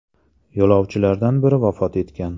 Yo‘lovchilardan biri vafot etgan.